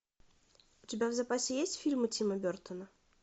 у тебя в запасе есть фильмы тима бертона